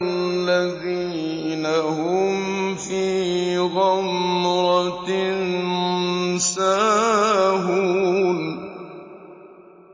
الَّذِينَ هُمْ فِي غَمْرَةٍ سَاهُونَ